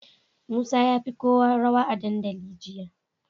Musa yafi kowa rawa a dandali jiya